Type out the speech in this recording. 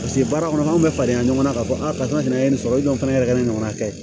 Paseke baara kɔnɔ n'anw bɛ falen yan ɲɔgɔn na k'a fɔ a ka n'a ye nin sɔrɔ fana yɛrɛ kɛ ne ɲɔgɔnna kɛ